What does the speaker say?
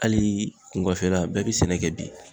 Ali kungɔfela bɛɛ be sɛnɛ kɛ bi